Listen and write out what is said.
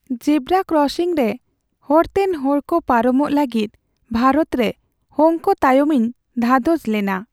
ᱡᱮᱵᱨᱟ ᱠᱨᱚᱥᱤᱝ ᱨᱮ ᱦᱚᱨᱛᱮᱱ ᱦᱚᱲᱠᱚ ᱯᱟᱨᱚᱢᱚᱜ ᱞᱟᱹᱜᱤᱫ ᱵᱷᱟᱨᱚᱛ ᱨᱮ ᱦᱚᱝᱠ ᱛᱟᱭᱚᱢ ᱤᱧ ᱫᱷᱟᱫᱚᱥ ᱞᱮᱱᱟ ᱾